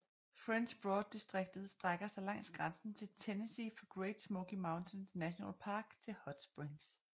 French Broad distriktet strækker sig langs grænsen til Tennessee fra Great Smoky Mountains National Park til Hot Springs